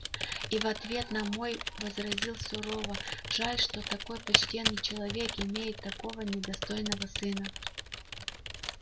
и в ответ на мой возразил сурово жаль что такой почтенный человек имеет такого недостойного сына